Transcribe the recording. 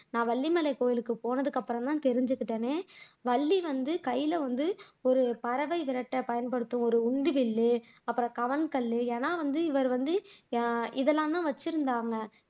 நான் வள்ளி மலை கோயிலுக்கு போனதுக்கு அப்புறம்தான் தெரிஞ்சுகிட்டேன் வள்ளி வந்து கையில வந்து ஒரு பறவை விரட்ட பயன்படுத்தும் ஒரு உண்டி வில்லு, அப்புறம் கவன் கல்லு, ஏன்னா வந்து இவர் வந்து அஹ் இதெல்லாம் வைச்சிருந்தாங்க